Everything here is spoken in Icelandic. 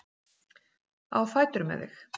Á fætur með þig!